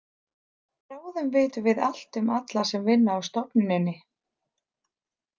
Bráðum vitum við allt um alla sem vinna á stofnuninni.